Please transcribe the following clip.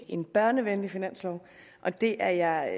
en børnevenlig finanslov og det er jeg